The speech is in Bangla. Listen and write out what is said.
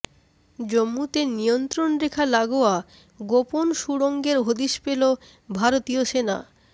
জম্মুতে নিয়ন্ত্রণরেখা লাগোয়া গোপন সুড়ঙ্গের হদিশ পেল ভারতীয় সেনা